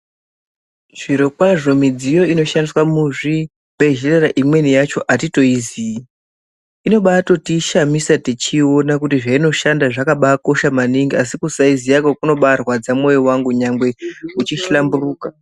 Zvirokwazvo midziyo inoshandiswa muzvibhedhlera imweni yacho atitoiziyi. Inobaatotishamisa techibaiona kuti zveinoshanda zvakabaakosha maningi asi kubaasaiziyakwo kunobaarwadza mwoyo wangu nyangwe uchihlamburuka.